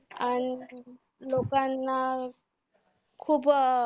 अन लोकांना खूप अं